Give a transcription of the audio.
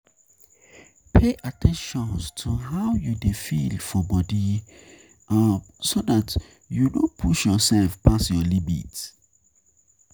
Pay at ten tion to how you dey feel for body um so dat you no push yourself pass your limit